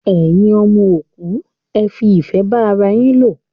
Ẹyin ọmọ òkú, ẹ fi ìfẹ́ bá ara yín lò!